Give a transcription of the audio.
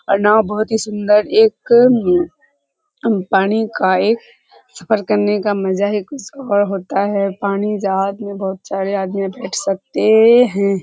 और नाव बहुत ही सुंदर एक अ पानी का एक सफर करने का हे मजा कुछ और होता है पानी जहाज में बहुत चढ़े आदमी बैठ सकते हैं।